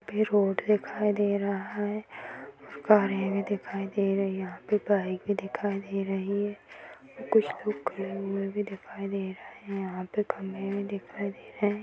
फिर रोड दिखाई दे रहा है। कारे भी दिखाई दे रही हैं। यहां पे बाइक भी दिखाई दे रही है और कुछ लोग खड़े हुए भी दिखाई दे रहे हैं। यहाँ पे खंभे भी दिखाई दे रहे हैं।